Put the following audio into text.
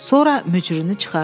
Sonra mücrünü çıxardı.